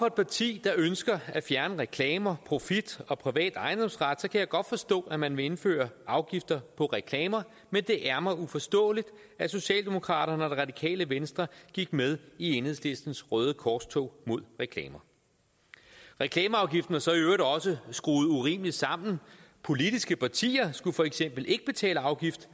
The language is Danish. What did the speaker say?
et parti der ønsker at fjerne reklamer profit og privat ejendomsret så kan jeg godt forstå at man vil indføre afgifter på reklamer men det er mig uforståeligt at socialdemokraterne og det radikale venstre gik med i enhedslistens røde korstog mod reklamer reklameafgiften er så i øvrigt også skruet urimeligt sammen politiske partier skulle for eksempel ikke betale afgift